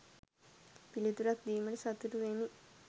පිළිතුරක් දීමට සතුටු වෙමි.